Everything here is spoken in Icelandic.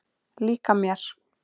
Líka mér.